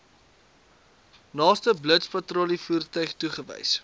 naaste blitspatrollievoertuig toegewys